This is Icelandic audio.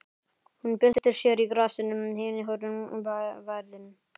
Hún byltir sér í grasinu, henni horfin værðin.